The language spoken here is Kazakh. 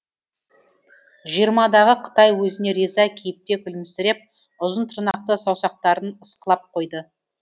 жиырмадағы қытай өзіне риза кейіпте күлімсіреп ұзын тырнақты саусақтарын ысқылап қойды